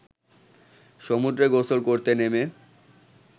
সমুদ্রে গোসল করতে নেমে